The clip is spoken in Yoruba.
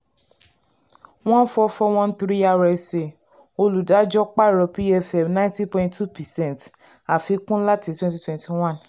One four four one three RSA olùdájú pààrọ̀ pfm ninety point two percent àfikún láti twenty twenty one